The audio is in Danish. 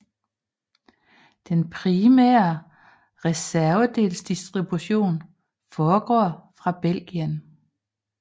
Den primære reservedelsdistribution foregår fra Belgien